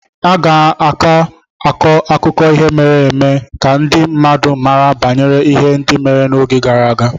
A ga na-akọ akụkọ ihe mere eme ka ndị mmadụ mara banyere ihe ndị mere n'oge gara aga